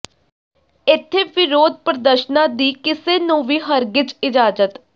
ਇਥੇ ਵਿਰੋਧ ਪ੍ਰਦਰਸ਼ਨਾਂ ਦੀ ਕਿਸੇ ਨੂੰ ਵੀ ਹਰਗਿਜ਼ ਇਜਾਜ਼ਤ